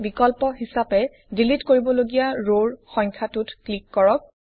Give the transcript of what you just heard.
বিকল্প হিচাপে ডিলিট কৰিব লগীয়া ৰৰ সংখ্যাটোত ক্লিক কৰক